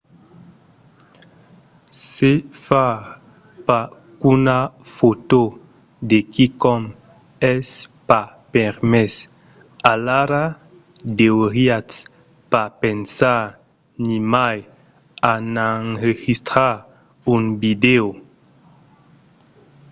se far pas qu'una fòto de quicòm es pas permés alara deuriatz pas pensar nimai a n'enregistrar un vidèo